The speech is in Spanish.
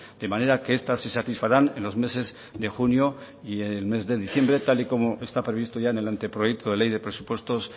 de manera que estas se satisfarán en los meses de junio y el mes de diciembre tal y como está ya previsto en el anteproyecto de ley de presupuestos